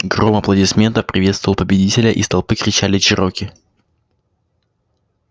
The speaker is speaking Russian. гром аплодисментов приветствовал победителя из толпы кричали чероки